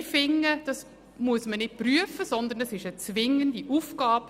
Wir finden, dies müsse nicht geprüft werden, sondern es sei eine zwingende Aufgabe.